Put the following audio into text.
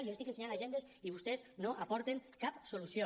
jo li estic ensenyant agendes i vostès no aporten cap solució